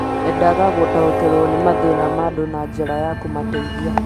endaga gũtaũkĩrũo nĩ mathĩna ma andũ na njĩra ya kũmateithia